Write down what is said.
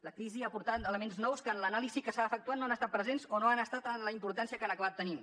la crisi ha aportat elements nous que en l’anàlisi que s’ha efectuat no han estat presents o no hi han estat amb la importància que han acabat tenint